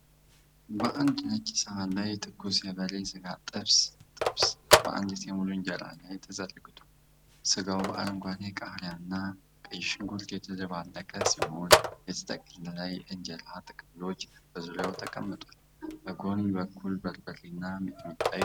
በአንድ ነጭ ሰሃን ላይ ትኩስ የበሬ ሥጋ ጥብስ (ጥብስ) በአንዲት ሙሉ እንጀራ ላይ ተዘርግቷል። ሥጋው በአረንጓዴ ቃሪያና ቀይ ሽንኩርት የተደባለቀ ሲሆን፣ የተጠቀለሉ የኢንጀራ ጥቅልሎች በዙሪያው ተቀምጠዋል። በጎን በኩል በርበሬና ሚጥሚጣ ይገኛል።